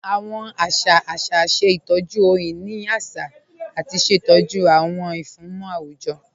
Awọn àṣà àṣà ṣẹ̀ ìtọ́jú ọhun-inì àṣà àti ṣẹ̀tọ́jú awọn ìfúnmọ̀ awujọ̀